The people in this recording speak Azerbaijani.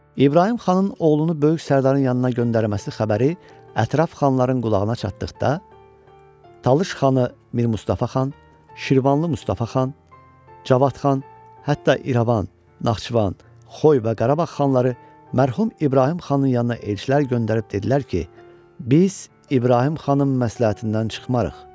İbrahim xanın oğlunu böyük sərdarın yanına göndərməsi xəbəri ətraf xanların qulağına çatdıqda, Talış xanı Mir Mustafa xan, Şirvanlı Mustafa xan, Cavad xan, hətta İrəvan, Naxçıvan, Xoy və Qarabağ xanları mərhum İbrahim xanın yanına elçilər göndərib dedilər ki, biz İbrahim xanım məsləhətindən çıxmarıq.